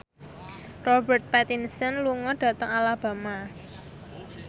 Robert Pattinson lunga dhateng Alabama